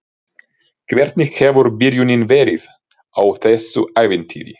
Hvernig hefur byrjunin verið á þessu ævintýri?